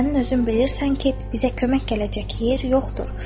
Sənin özün bilirsən ki, bizə kömək gələcək yer yoxdur.